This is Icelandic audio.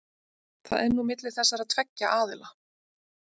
Það er nú milli þessara tveggja aðila.